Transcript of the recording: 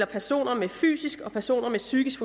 personer med fysisk og personer med psykisk